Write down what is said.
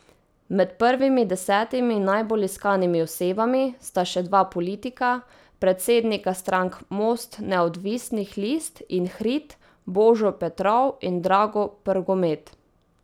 Med prvimi desetimi najbolj iskanimi osebami sta še dva politika, predsednika strank Most neodvisnih list in Hrid, Božo Petrov in Drago Prgomet.